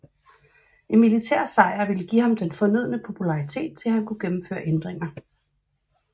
En militær sejr ville give ham den fornødne popularitet til at han kunne gennemføre ændringer